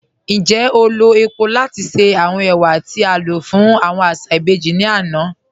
Ńjẹ́ o lọ̀ epò̀ lati ṣe awọn ẹwà ti a lọ fun aṣa ibèjì ni ana?